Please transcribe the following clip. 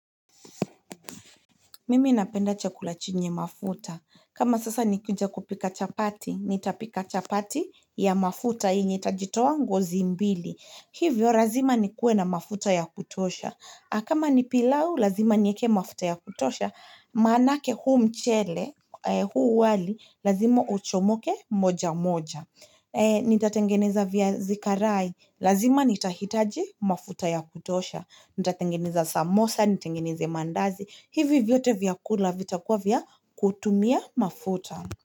Mimi napenda chakula chenye mafuta. Kama sasa nikikunja kupika chapati, nitapika chapati ya mafuta yenye itajitoa ngozi mbili. Hivyo lazima ni kuwe na mafuta ya kutosha. Kama ni pilau, lazima niweke mafuta ya kutosha. Maanake huu mchele, huu wali, lazima uchomoke moja moja. Nitatengeneza viazi karai. Lazima nitahitaji mafuta ya kutosha. Nitatengeneza samosa, nitengeneze mandazi. Hivi vyote vyakula vitakuwa vya kutumia mafuta.